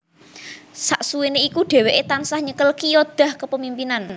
Saksuwene iku dheweke tansah nyekel Qiyadah Kepemimpinan